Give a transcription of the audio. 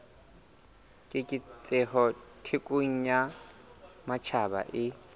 keketseho thekong ya matjhaba e